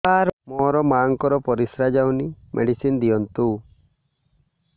ସାର ମୋର ମାଆଙ୍କର ପରିସ୍ରା ଯାଉନି ମେଡିସିନ ଦିଅନ୍ତୁ